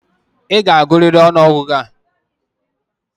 I ga-agụrịrị ọnụọgụgụ a!